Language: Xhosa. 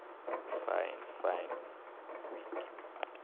fyn fine kweek